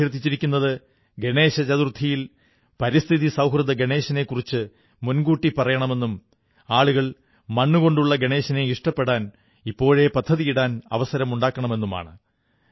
അവർ അഭ്യർഥിച്ചിരിക്കുന്നത് ഗണേശചതുർഥിയിൽ പരിസ്ഥിതി സൌഹൃദ ഗണേശനെക്കുറിച്ച് മുൻകൂട്ടി പറയണമെന്നും ആളുകൾ മണ്ണുകൊണ്ടുള്ള ഗണേശനെ ഇഷ്ടപ്പെടാൻ ഇപ്പോഴേ പദ്ധതിയിടാൻ അവസരമുണ്ടാകണമെന്നുമാണ്